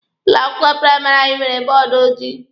Ụlọ akwụkwọ praịmarị anyị nwere bọọdụ ojii.